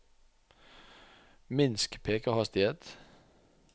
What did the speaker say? minsk pekerhastighet